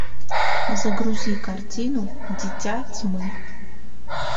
загрузи картину дитя тьмы